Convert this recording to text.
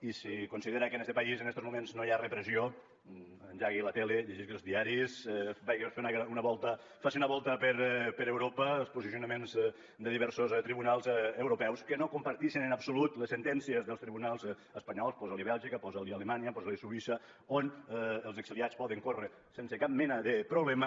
i si considera que en este país en estos moments no hi ha repressió engegui la tele llegeixi els diaris faci una volta per europa pels posicionaments de diversos tribunals europeus que no compartixen en absolut les sentències dels tribunals espanyols posa li bèlgica posa li alemanya posa li suïssa on els exiliats poden córrer sense cap mena de problema